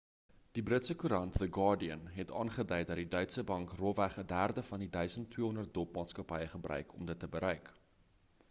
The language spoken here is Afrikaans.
die britse koerant the guardian het aangedui dat die deutsche bank rofweg 'n derde van die 1200 dop maatskappye gebruik om dit te bereik